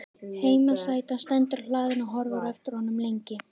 Heimasætan stendur á hlaðinu og horfir á eftir honum lengi.